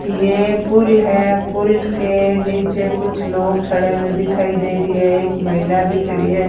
ये पुल है पुल के नीचे कुछ लोग खड़े हुए दिखाई दे रही है एक महिला भी खड़ी है।